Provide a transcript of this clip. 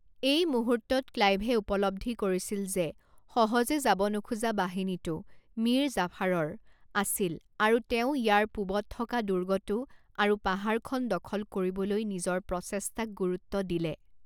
এই মুহূৰ্তত, ক্লাইভে উপলব্ধি কৰিছিল যে সহজে যাব নোখোজা বাহিনীটো মীৰ জাফাৰৰ আছিল আৰু তেওঁ ইয়াৰ পূবত থকা দুৰ্গটো আৰু পাহাৰখন দখল কৰিবলৈ নিজৰ প্ৰচেষ্টাক গুৰুত্ব দিলে।